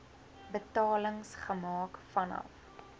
betalings gemaak vanaf